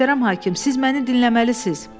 Möhtərəm hakim, siz məni dinləməlisiz.